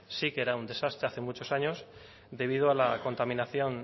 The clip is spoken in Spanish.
sí que era un desastre hace muchos años debido a la contaminación